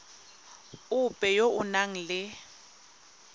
ope yo o nang le